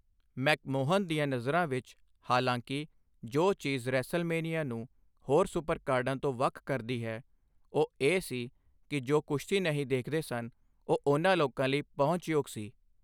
McMahon ਦੀਆਂ ਨਜ਼ਰਾਂ ਵਿੱਚ, ਹਾਲਾਂਕਿ, ਜੋ ਚੀਜ਼ ਰੈਸਲਮੇਨੀਆ ਨੂੰ ਹੋਰ ਸੁਪਰਕਾਰਡਾਂ ਤੋਂ ਵੱਖ ਕਰਦੀ ਹੈ, ਉਹ ਇਹ ਸੀ ਕਿ ਜੋ ਕੁਸ਼ਤੀ ਨਹੀਂ ਦੇਖਦੇ ਸਨ ਇਹ ਉਨ੍ਹਾਂ ਲੋਕਾਂ ਲਈ ਪਹੁੰਚਯੋਗ ਸੀ।